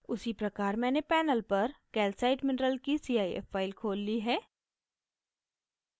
उसी प्रकार मैंने panel पर calcite mineral की cif file खोल ली है